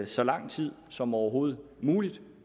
så lang tid som overhovedet muligt